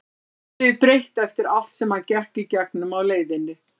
Lífið er breytt eftir allt sem hann gekk í gegnum á leiðinni.